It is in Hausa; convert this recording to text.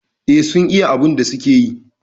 Eh sun iya abun da suke yi